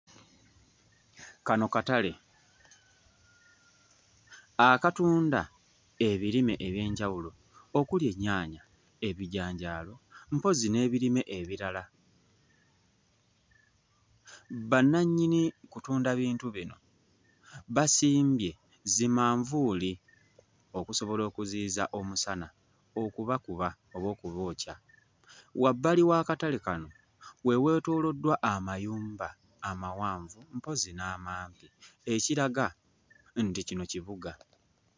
Kano katale akatunda ebirime eby'enjawulo okuli ennyaanya ebijanjaalo mpozzi n'ebirime ebirala bannannyini kutunda bintu bino basimbye zimanvuuli okusobola okuziyiza omusana okubakuba oba okubookya wabbali w'akatale kano we weetooloddwa amayumba amawanvu mpozzi n'amampi ekiraga nti kino kibuga.